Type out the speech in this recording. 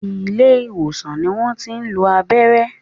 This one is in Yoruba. Ilé ìwòsàn ni wọ́n tí ń lo abẹ́rẹ́